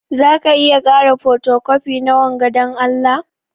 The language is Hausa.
Zaka iya kara fotocopi na wanga dan Allah?